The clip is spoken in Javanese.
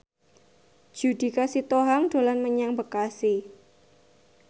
Judika Sitohang dolan menyang Bekasi